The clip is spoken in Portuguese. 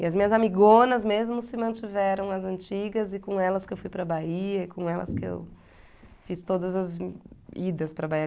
E as minhas amigonas mesmo se mantiveram as antigas e com elas que eu fui para a Bahia e com elas que eu fiz todas as idas para a Bahia.